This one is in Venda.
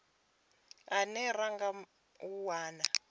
ane ra nga a wana